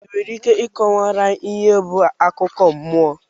i nwere Ike ịkọwara anyị ihe bụ akụkọ mmụọ?